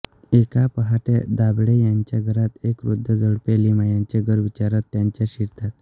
एका पहाटे दाभाडे यांच्या घरात एक वृद्ध जोडपे लिमयांचे घर विचारत त्यांच्या शिरतात